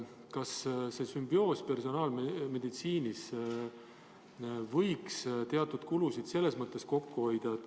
Kas see sümbioos personaalmeditsiinis võiks teatud kulusid kokku hoida?